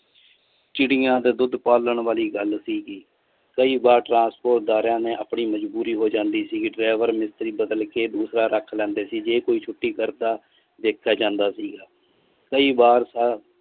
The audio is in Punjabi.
ਚਿੜੀਆਂ ਦਾ ਦੁੱਧ ਪਾਲਣ ਵਾਲੀ ਗੱਲ ਸੀਗੀ ਕਈ ਵਾਰ transport ਦਾਰਿਆਂ ਨੇ ਆਪਣੀ ਮਜਬੂਰੀ ਹੋ ਜਾਂਦੀ ਸੀਗੀ driver ਮਿਸਤਰੀ ਬਦਲਕੇ ਦੂਸਰਾ ਰੱਖ ਲੈਂਦੇ ਸੀ ਜੇ ਕੋਈ ਛੁਟੀ ਕਰਦਾ ਦੇਖਿਆ ਜਾਂਦਾ ਸੀਗਾ ਕਈ ਬਾਰ ਤਾਂ